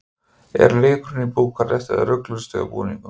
Er leikurinn í Búkarest eða rugluðust þau á búningum?